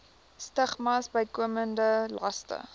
stigmas bykomende laste